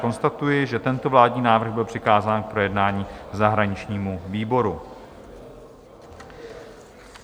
Konstatuji, že tento vládní návrh byl přikázán k projednání zahraničnímu výboru.